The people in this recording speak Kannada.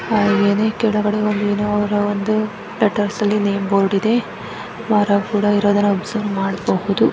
ಹಾಗೆನೆ ಕೆಳಗಡೆ ಒಂದು ಲೆಟರ್ಸ್ ಅಲ್ಲಿ ಬೋರ್ಡ್ ಇದೆ ಮರ ಕೂಡ ಇರೋದನ್ನ ಅಬ್ಸರ್ವ್ ಮಾಡಬಹುದು .